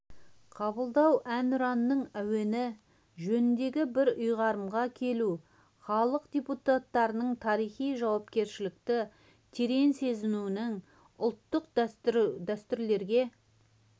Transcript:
қабылдау әнұранның әуені жөнінде бір ұйғарымға келу халық депутаттарының тарихи жауапкершілікті терең сезінуінің ұлттық дәстүрлерге